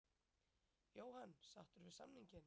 Jóhann: Sáttur við samninginn?